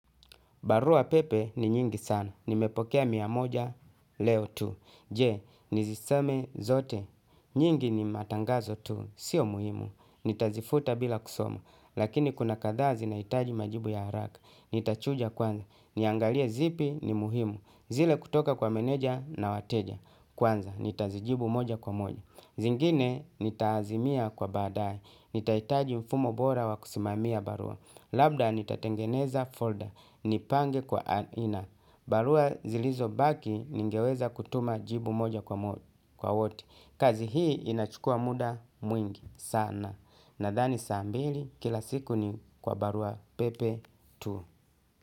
Baruapepe ni nyingi sana. Nimepokea mia moja leo tu. Je, nizisome zote. Nyingi ni matangazo tu. Sio muhimu. Nitazifuta bila kusoma. Lakini kuna kadhaa zinahitaji majibu ya haraka. Nitachuja kwanza. Niangalie zipi ni muhimu. Zile kutoka kwa meneja na wateja. Kwanza, nitazijibu moja kwa moja. Zingine, nitaazimia kwa baadaye. Nitahitaji mfumo bora wa kusimamia barua. Labda, nitatengeneza folder. Nipange kwa aina. Barua zilizobaki ningeweza kutuma jibu moja kwa wote. Kazi hii inachukua muda mwingi sana. Nadhani saa mbili kila siku ni kwa baruapepe tu.